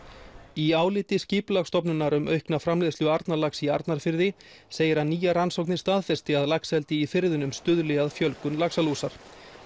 í áliti Skipulagsstofnunar um aukna framleiðslu Arnarlax í Arnarfirði segir að nýjar rannsóknir staðfesti að laxeldi í firðinum stuðli að fjölgun laxalúsar